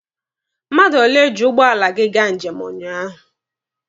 Mmadụ ole ji ụgbọala gị gaa njem ụnyaahụ?